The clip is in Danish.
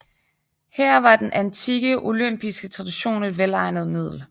Her var den antikke olympiske tradition et velegnet middel